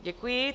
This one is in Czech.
Děkuji.